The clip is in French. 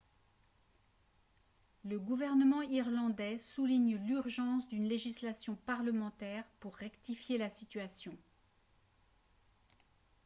le gouvernement irlandais souligne l'urgence d'une législation parlementaire pour rectifier la situation